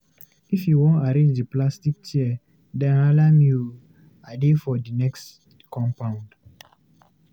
If you wan arrange di plastic chairs dem, hala me o! I dey for di next compound.